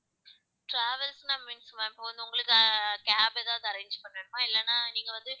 traavels னா means ma'am இப்ப வந்து உங்களுக்கு ca~ cab எதாவது arrange பண்ணனுமா இல்லன்னா நீங்க வந்து